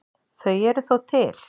Þau eru þó til.